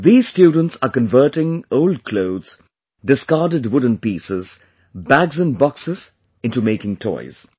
These students are converting old clothes, discarded wooden pieces, bags and Boxes into making toys